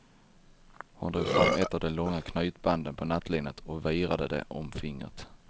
Hon drog fram ett av de långa knytbanden på nattlinnet och virade det om fingret.